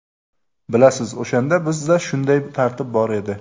Bilasiz, o‘shanda bizda shunday tartib bor edi.